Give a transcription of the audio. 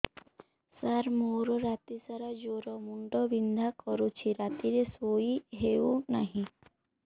ସାର ମୋର ରାତି ସାରା ଜ୍ଵର ମୁଣ୍ଡ ବିନ୍ଧା କରୁଛି ରାତିରେ ଶୋଇ ହେଉ ନାହିଁ